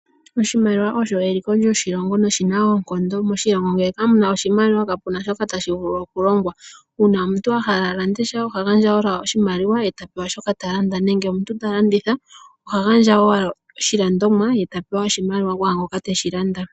Oshimaliwa osho eliko lyoshilongo noshina oonkondo. Moshilongo ngele ka muna oshimaliwa ka puna shoka tashi vulu oku longwa. Uuna omuntu a hala a lande sha oha gandja owala oshimaliwa e ta pew shoka ta landa. Nenge omuntu ta landitha oha gandja owala oshilandomwa ye ta pewa oshimaliwa ku ngoka teshi landa.